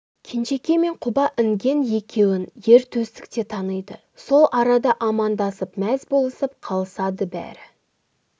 кенжекей мен құба інген екеуін ер төстік те таниды сол арада амандасып мәз болысып қалысады бәрі